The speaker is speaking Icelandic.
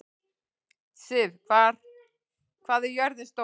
Siv, hvað er jörðin stór?